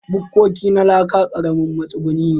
Bukkoki na laka ƙaramin matsuguni ne.